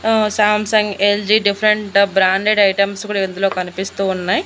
ఆ Samsung LG different branded items కూడా ఇందులో కనిపిస్తూ ఉన్నాయి.